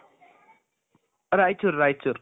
Raichur Raichur